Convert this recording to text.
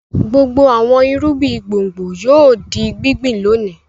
Gbogbo àwọn irúgbìn gbùngbùn yóò di gbíngbìn lónìí.